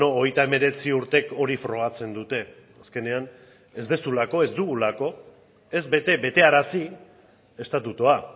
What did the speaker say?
hogeita hemeretzi urtek hori frogatzen dute azkenean ez duzulako ez dugulako ez bete betearazi estatutua